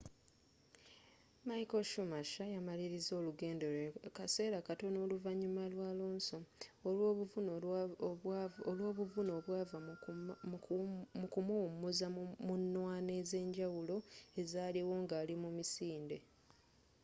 michael schumacher yamaliliza olugendo lwe kaseera katono oluvanyuma lwa alonso olwobuvune obwava mu kumuwumuza mu nnwana ezenjawulo ezaaliwo ngali mu misinde